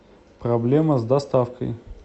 проблема с доставкой